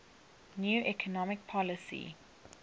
new economic policy